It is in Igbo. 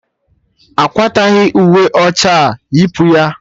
Akwataghi uwe ọcha a, yipu ya!